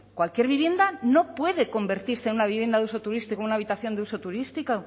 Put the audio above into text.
cualquier vivienda no puede convertirse en una vivienda de uso turístico una habitación de uso turístico